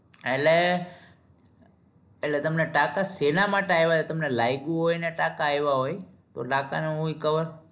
એટલે એટલે તમને ટાંકા શેના માટે આયવા તમને લાયગું હોય ને ટાંકા આયવા હોય તો